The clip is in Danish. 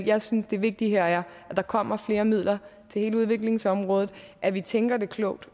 jeg synes det vigtige her er at der kommer flere midler til hele udviklingsområdet og at vi tænker det klogt